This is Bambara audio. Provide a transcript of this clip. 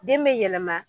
Den bɛ yɛlɛma